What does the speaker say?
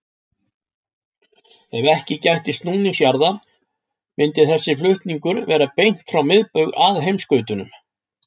Ef ekki gætti snúnings jarðar myndi þessi flutningur vera beint frá miðbaug að heimskautunum.